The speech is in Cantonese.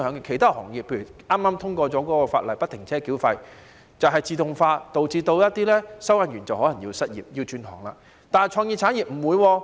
其他行業例如剛才通過有關不停車繳費的法案，便是自動化導致一些收費員可能失業，要轉行，但創意產業不會。